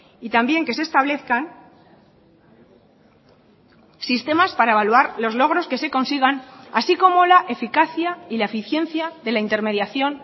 y también que se establezcan sistemas para evaluar los logros que se consigan así como la eficacia y la eficiencia de la intermediación